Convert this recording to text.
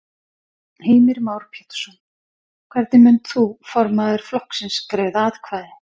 Heimir Már Pétursson: Hvernig munt þú formaður flokksins greiða atkvæði?